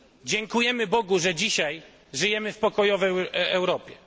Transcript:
Dziękujemy Bogu, że dzisiaj żyjemy w pokojowej Europie.